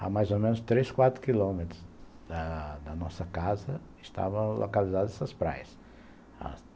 Há mais ou menos três, quatro quilômetros da nossa casa estavam localizadas essas praias.